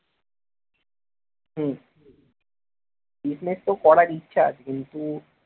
হম business তো করার ইচ্ছা কিন্তু